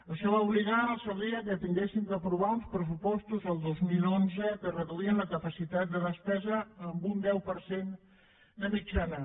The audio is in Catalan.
això va obligar en el seu dia que haguéssim d’aprovar uns pressupostos el dos mil onze que reduïen la capacitat de despesa en un deu per cent de mitjana